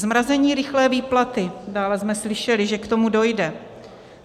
Zmrazení rychlé výplaty - dále jsme slyšeli, že k tomu dojde.